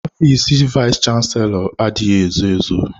Ọfịs vayis chansilọ adịghị ezo ezo.